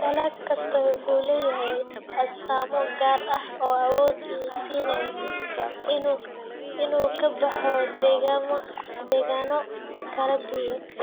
Dalag kastaa wuxuu leeyahay astaamo gaar ah oo awood u siinaya inuu ka baxo deegaanno kala duwan.